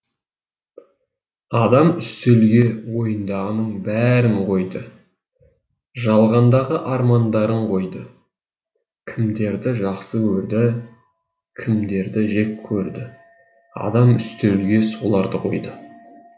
адам үстелге ойындағының барын қойды жалғандағы армандарын қойды кімдерді жақсы көрді кімдерді жеккөрді адам үстелге соларды қойды